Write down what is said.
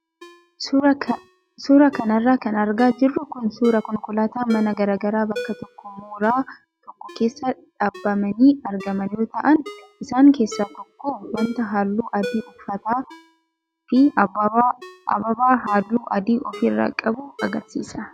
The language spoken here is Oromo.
Suuraa kanarra kan argaa jirru kun suuraa konkolaattota manaa garaagaraa bakka tokko mooraa tokko keessa dhaabamanii argaman yoo ta'an isaan keessaa tokko wanta halluu adii uffataa fi ababaa halluu adii ofirraa qabu agarsiisa.